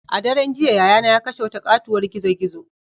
A daren jiya yayana ya kashe wata katuwar gizo-gizo.